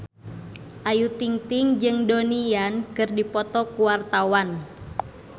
Ayu Ting-ting jeung Donnie Yan keur dipoto ku wartawan